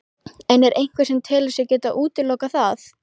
En er einhver sem telur sig geta útilokað það?